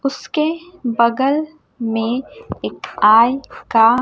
उसके बगल में एक आय का--